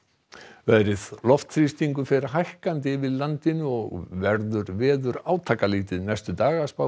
veðri loftþrýstingur fer hækkandi yfir landinu og verður veður átakalítið næstu daga